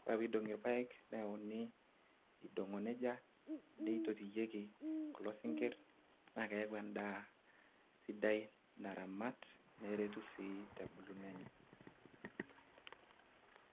kore peidong'i ilpaek neyauni eidong'o nejia neitotieki kulo sinkirr naa keeku endaa sidai naramat neretu sii tebuluno enye.